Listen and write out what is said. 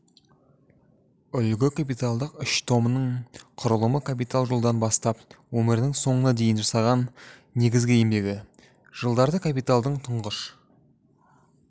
үлгі капиталдың үш томының құрылымы капитал жылдан бастап өмірінің соңына дейін жасаған негізгі еңбегі жылдары капиталдың тұңғыш